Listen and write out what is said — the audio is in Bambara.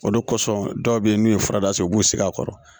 O de kɔsɔn dɔw be yen n'u ye furadasɛ u b'u sigi a kɔrɔ